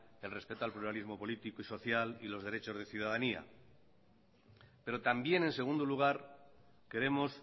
el respeto al pluralismo político y social y los derechos de ciudadanía pero también en segundo lugar queremos